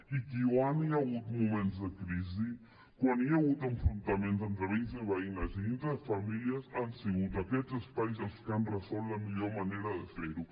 i quan hi ha hagut moments de crisi quan hi ha hagut enfrontaments entre veïns i veïnes i dintre de les famílies han sigut aquests espais els que han resolt la millor manera de fer ho